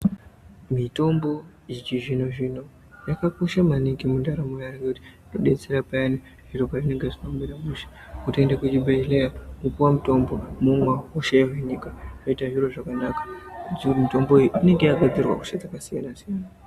Mitombo yechizvinozvino yakakosha maningi mundaramo yeantu ngekuti inodetsera payani zviro pezvinenge zvisina kumira mushe kutoende kuzvibhedhlera kopiwe mutombo, womwa hosha yohinika zvoita zviro zvakanaka. Mitomboyo inenge yakagadzirirwa hosha dzakasiyana-siyana.